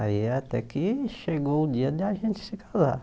Aí até que chegou o dia de a gente se casar.